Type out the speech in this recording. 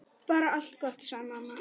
Bara allt gott, sagði mamma.